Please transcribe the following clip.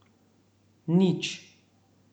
Nič.